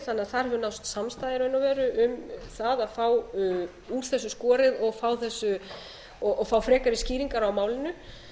þannig að þar mun nást samstaða í raun og veru um það að fá úr þessu skorið og fá frekari skýringar á málinu